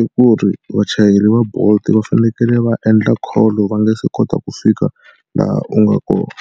i ku ri vachayeri va bolt va fanekele va endla call-o va nga se kota ku fika laha u nga kona.